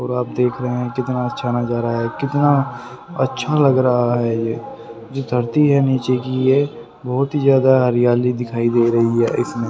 और आप देख रहे हैं कितना अच्छा नजारा है कितना अच्छा लग रहा है ये जो धरती है नीचे की ये बहुत ही ज्यादा हरियाली दिखाई दे रही है ।